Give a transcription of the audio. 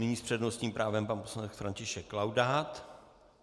Nyní s přednostním právem pan poslanec František Laudát.